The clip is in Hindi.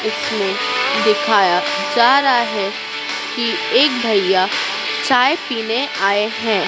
इसमें दिखाया जा रहा है कि एक भैया चाय पीने आए हैं।